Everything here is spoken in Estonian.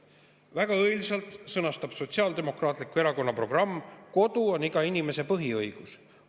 Väga õilsalt sõnastab Sotsiaaldemokraatliku Erakonna programm: "Kodu on iga inimese põhiõigus.